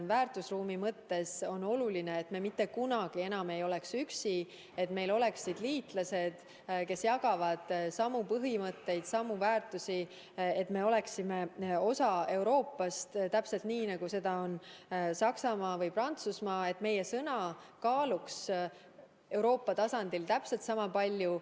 Väärtusruumi mõttes on oluline, et me mitte kunagi enam ei oleks üksi, et meil oleksid liitlased, kes jagavad samu põhimõtteid, samu väärtusi, et me oleksime osa Euroopast, nagu seda on Saksamaa või Prantsusmaa, et meie sõna kaaluks Euroopa tasandil täpselt sama palju.